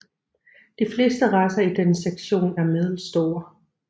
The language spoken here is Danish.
De fleste racer i denne sektion er middelstore